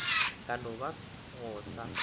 ka no ba go sa